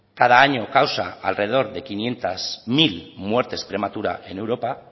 cada año causa alrededor de quinientos mil muertes prematuras en europa